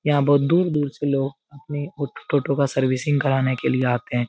यहाँ बहुत दूर-दूर से लोग अपनी ऑटो का सर्विसिंग कराने के लिए आते हैं।